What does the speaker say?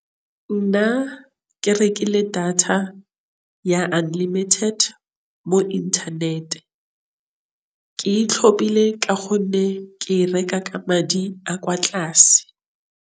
Nna ke rekile data ya unlimited mo internet-e. Ke e tlhophile ka gonne ke e reka ka madi a kwa tlase.